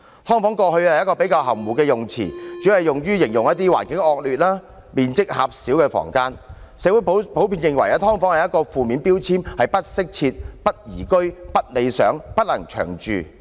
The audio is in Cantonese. "劏房"過去是一個比較含糊的用詞，主要用於形容環境惡劣、面積狹小的房間，社會普遍認為"劏房"是一個負面標籤，是不適切、不宜居、不理想及不能長住的。